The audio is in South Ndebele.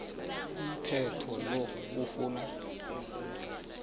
umthetho lo ufuna